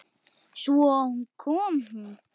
Svo kom hún.